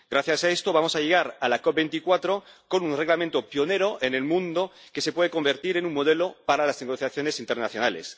Gracias a esto, vamos a llegar a la COP24 con un reglamento pionero en el mundo, que se puede convertir en un modelo para las negociaciones internacionales.